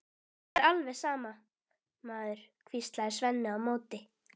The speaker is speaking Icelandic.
Það er alveg sama, maður, hvíslaði Svenni á móti.